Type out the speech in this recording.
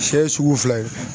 Siyɛ ye sugu fila ye.